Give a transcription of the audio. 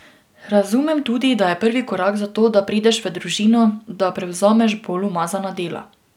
Razumem tudi, da je prvi korak za to, da prideš v družino, da prevzameš bolj umazana dela.